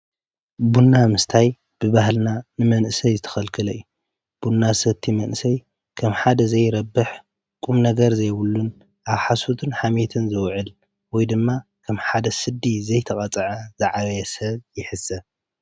ቡና ምስታይ ብባህልና ን መንእሰይ ዝተከልከለ እዩ::ቡና ዝሰቲ መንእሰይ ከም ሓደ ዝይረብሕ ቁም ነገር ዘይ ብሉን ስብ ሓሶትን ሓምየትን ዝውዕል ወይ ድማ ከም ሓደ ከይተቀፅዐ ዝዓበየ ሰብ ይሕሰብ::